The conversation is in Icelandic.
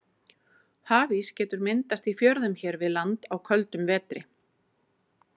Hafís getur myndast í fjörðum hér við land á köldum vetri.